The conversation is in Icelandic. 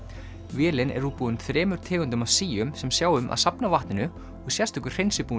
vélin er útbúin þremur tegundum af síum sem sjá um að safna vatninu og sérstakur hreinsibúnaður